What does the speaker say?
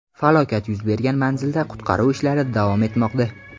Falokat yuz bergan manzilda qutqaruv ishlari davom etmoqda.